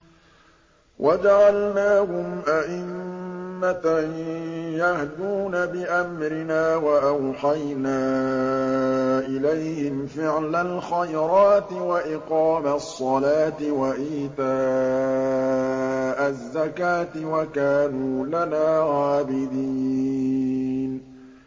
وَجَعَلْنَاهُمْ أَئِمَّةً يَهْدُونَ بِأَمْرِنَا وَأَوْحَيْنَا إِلَيْهِمْ فِعْلَ الْخَيْرَاتِ وَإِقَامَ الصَّلَاةِ وَإِيتَاءَ الزَّكَاةِ ۖ وَكَانُوا لَنَا عَابِدِينَ